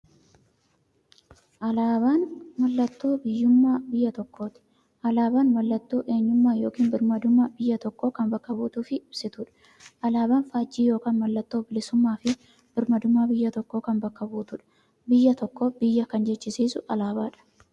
Alaaban mallattoo biyyuummaa biyya tokkooti. Alaabaan mallattoo eenyummaa yookiin birmaadummaa biyya tokkoo kan bakka buutuuf ibsituudha. Alaaban faajjii yookiin maallattoo bilisuummaafi birmaadummaa biyya tokkoo kan bakka buutuudha. Biyya tokko biyya kan jechisisuu alaabadha.